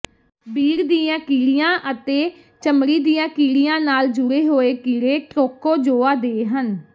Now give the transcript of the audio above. ਬੀੜ ਦੀਆਂ ਕੀੜੀਆਂ ਅਤੇ ਚਮੜੀ ਦੀਆਂ ਕੀੜੀਆਂ ਨਾਲ ਜੁੜੇ ਹੋਏ ਕੀੜੇ ਟ੍ਰੋਕੋਜੋਆ ਦੇ ਹਨ